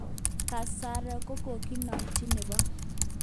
Kasaron kokokinomchin Nebo.